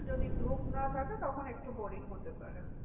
যদি গ্রুপ না থাকে তখন একটু boring হতে পারে।